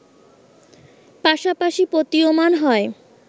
পাশাপাশি প্রতীয়মান হয়